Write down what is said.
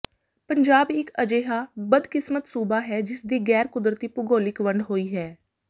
ਪੰਜਾਬ ਇੱਕ ਅਜੇਹਾ ਬਦਕਿਸਮਤ ਸੂਬਾ ਹੈ ਜਿਸ ਦੀ ਗੈਰ ਕੁਦਰਤੀ ਭੂਗੋਲਿਕ ਵੰਡ ਹੋਈ ਹੈ